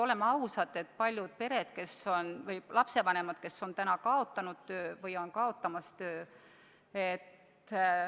Oleme ausad, paljud lapsevanemad on kaotanud töö või on seda kaotamas.